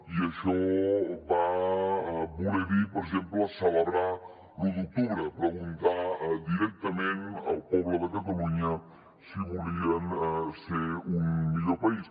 i això va voler dir per exemple celebrar l’u d’octubre preguntar directament al poble de catalunya si volien ser un millor país